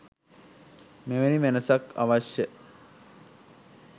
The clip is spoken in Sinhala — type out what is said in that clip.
එවැනි වෙනසක්ද අවශ්‍ය?